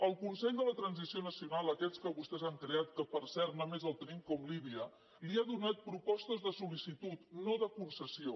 el consell per a la transició nacional aquest que vostès han creat que per cert només el tenim com líbia li ha donat propostes de sol·licitud no de concessió